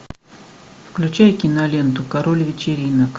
включай киноленту король вечеринок